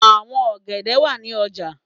Àwọn ọ̀gẹ̀dẹ̀ wà ní ọjà.